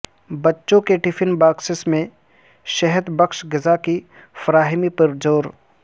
بچوں کے tiffin boxes میں صحت بخش غذا کی فراہمی پر زور